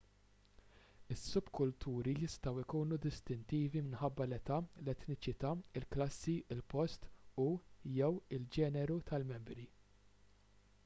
is-subkulturi jistgħu jkunu distintivi minħabba l-età l-etniċità il-klassi il-post u/jew il-ġeneru tal-membri